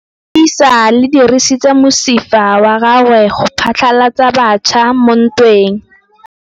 Lepodisa le dirisitse mosifa wa gagwe go phatlalatsa batšha mo ntweng.